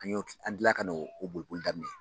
An y'o an tilala ka no o boli boli daminɛ.